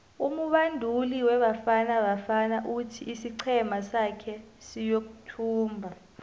umubanduli webafana bafana uthi isiqhema sake siyothumba